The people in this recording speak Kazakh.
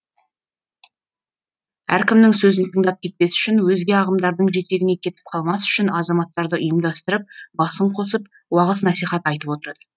әркімнің сөзін тыңдап кетпес үшін өзге ағымдардың жетегіне кетіп қалмас үшін азаматтарды ұйымдастырып басын қосып уағыз насихат айтып отырады